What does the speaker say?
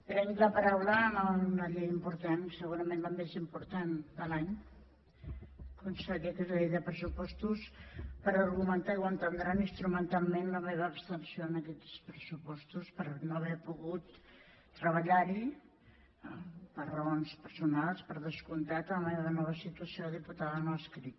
prenc la paraula en una llei important segurament la més important de l’any conseller que és la llei de pressupostos per argumentar i ho entendran instrumentalment la meva abstenció en aquests pressupostos per no haver pogut treballar hi per raons personals per descomptat per la meva nova situació de diputada no adscrita